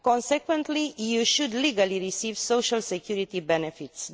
Consequently you should legally receive social security benefits.